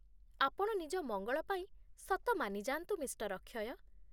ଆପଣ ନିଜ ମଙ୍ଗଳ ପାଇଁ ସତ ମାନିଯାଆନ୍ତୁ, ମିଃ. ଅକ୍ଷୟ